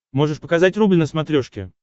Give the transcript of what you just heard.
можешь показать рубль на смотрешке